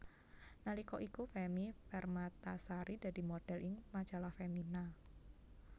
Nalika iku Femmy Permatasari dadi modhél ing Majalah Femina